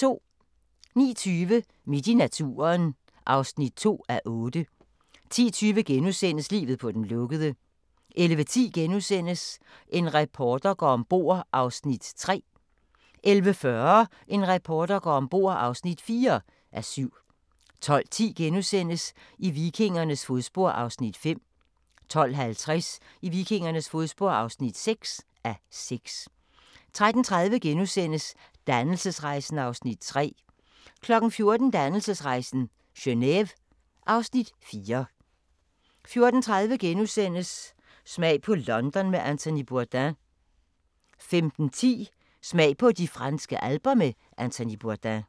09:20: Midt i naturen (2:8) 10:20: Livet på den lukkede * 11:10: En reporter går om bord (3:7)* 11:40: En reporter går om bord (4:7) 12:10: I vikingernes fodspor (5:6)* 12:50: I vikingernes fodspor (6:6) 13:30: Dannelsesrejsen (Afs. 3)* 14:00: Dannelsesrejsen - Geneve (Afs. 4) 14:30: Smag på London med Anthony Bourdain * 15:10: Smag på de franske alper med Anthony Bourdain